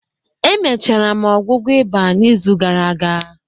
Emechara m ọgwụgwọ eba n'izu gara aga